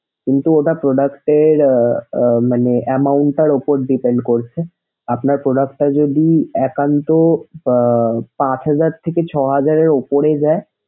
কিন্তু এটা product এর মানে amount টার উপর depend করছে। আপনার product টা যদি একান্ত আহ পাঁচ হাজার থেকে ছয় হাজার এর উপরে যায়।